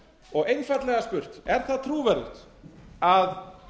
og einfaldlega spurt er það trúverðugt að